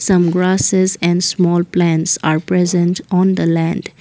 some grasses and small plants are present on the land.